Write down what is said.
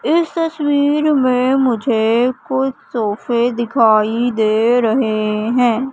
इस तस्वीर में मुझे कुछ सोफे दिखाई दे रहे हैं।